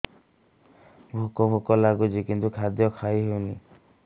ଭୋକ ଭୋକ ଲାଗୁଛି କିନ୍ତୁ ଖାଦ୍ୟ ଖାଇ ହେଉନି